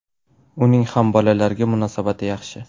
Uning ham bolalarga munosabati yaxshi.